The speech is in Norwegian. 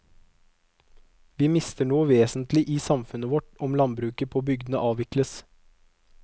Vi mister noe vesentlig i samfunnet vårt om landbruket på bygdene avvikles.